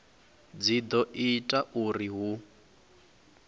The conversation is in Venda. dzi do ita uri hu